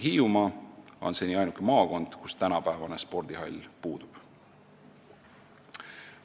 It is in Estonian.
Hiiumaa on ainuke maakond, kus tänapäevane spordihall puudub.